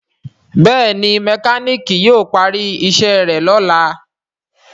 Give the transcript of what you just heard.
Béèni mekaniki yíò pari iṣé rẹ lọla.